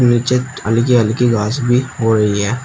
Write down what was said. नीचे हल्की हल्की घास भी हो रही है।